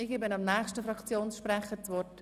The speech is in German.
Ich gebe dem nächsten Fraktionssprecher das Wort.